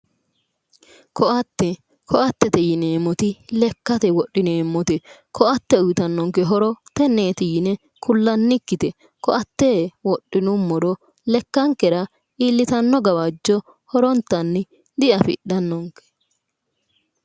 Ko'atte ko'attete yineemmoti lekkate wodhineemmote ko'atte uyitannonke horo tenneeti yine kullannikkite ko'atte wodhinummoro lekkankera iillitanno gawajjo horontanni diafidhannonke